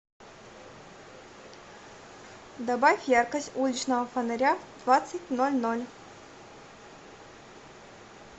добавь яркость уличного фонаря в двадцать ноль ноль